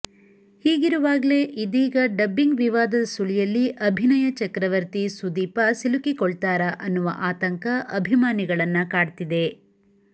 ಹೀಗಿರುವಾಗ್ಲೇ ಇದೀಗ ಡಬ್ಬಿಂಗ್ ವಿವಾದದ ಸುಳಿಯಲ್ಲಿ ಅಭಿನಯ ಚಕ್ರವರ್ತಿ ಸುದೀಪ ಸಿಲುಕಿಕೊಳ್ತಾರಾ ಅನ್ನುವ ಆತಂಕ ಅಭಿಮಾನಿಗಳನ್ನ ಕಾಡ್ತಿದೆ